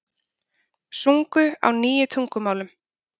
Sungu á níu tungumálum